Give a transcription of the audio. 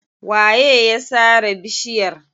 Waye ya sare bishiyar?